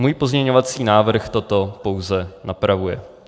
Můj pozměňovací návrh toto pouze napravuje.